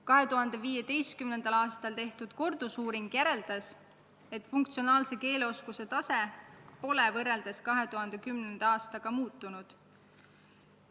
2015. aastal tehtud kordusuuring näitas, et funktsionaalse keeleoskuse tase pole võrreldes 2010. aastaga muutunud.